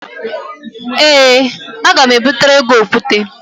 Ee, aga m ebutere gị okwute